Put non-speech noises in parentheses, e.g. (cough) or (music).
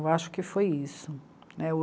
Eu acho que foi isso. (unintelligible)